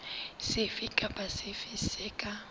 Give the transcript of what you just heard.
sefe kapa sefe se ka